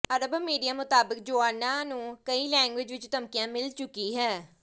ਅਰਬ media ਮੁਤਾਬਕ Joanna ਨੂੰ ਕਈ ਲੈਂਗਵੇਜ ਵਿਚ ਧਮਕੀਆਂ ਮਿਲ ਚੁੱਕੀ ਹੈ